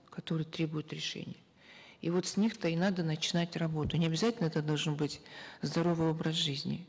которые требуют решения и вот с них то и надо начинать работу не обязательно это должен быть здоровый образ жизни